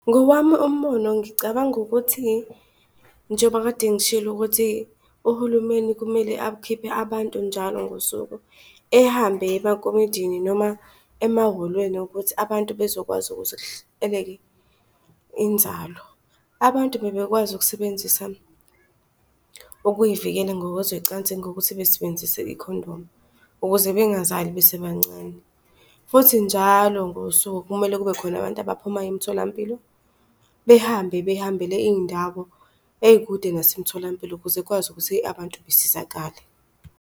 Ngowami umbono ngicabanga ukuthi njengoba kade ngishilo ukuthi uhulumeni kumele akhiphe abantu njalo ngosuku ehambe eye emakomidini noma emahholweni ukuthi abantu bezokwazi ukuthi kuhleleke inzalo. Abantu bengakwazi ukusebenzisa okuy'vikela ngokwezocansi ngokuthi besebenzise ikhondomu, ukuze bengazali besebancane. Futhi njalo ngosuku kumele kube khona abantu abaphuma emitholampilo behambe behambele iy'ndawo ey'kude nasemtholampilo ukuze kwazi ukuthi abantu besizakale.